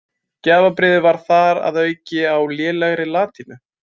Gjafabréfið var þar að auki á lélegri latínu.